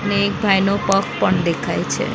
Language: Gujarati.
અને એક ભાઈનો પગ પણ દેખાય છે.